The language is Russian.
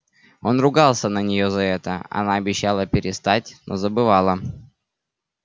он ругался на нее за это она обещала перестать но забывала